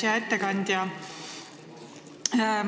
Hea ettekandja!